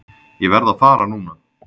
Ég verð að fara núna!